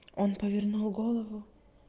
он повернул голову